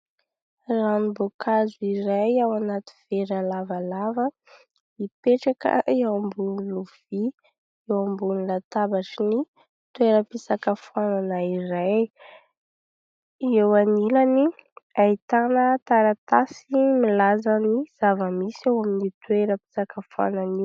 Ranom-boankazo iray ao anaty vera lavalava mipetraka eo ambony lovia, eo ambony latabatra ny toera-pisakafoanana iray, eo anilany ahitana taratasy milaza ny zava-misy ao amin'ny toeram-pisakafoanana.